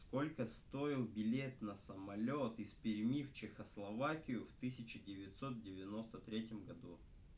сколько стоил билет на самолёт из перьми в чехословакию в тысяча девятьсот девяносто третьем году